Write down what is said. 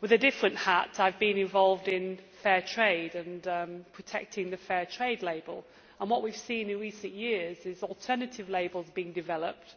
With a different hat I have been involved in fair trade and protecting the fair trade label, and what we have seen in recent years is alternative labels being developed.